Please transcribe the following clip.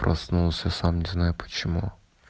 проснулся сам не знаю почему